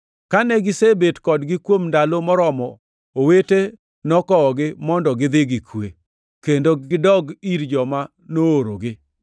Kane gisebet kodgi kuom ndalo moromo, owete nokowogi mondo gidhi gi kwe, kendo gidogi ir joma noorogi. [ 34 Sila to noneno ni ber mondo odongʼ Antiokia.] + 15:34 Loko moko machon mag Muma onge gi \+xt Joo 15:34\+xt*.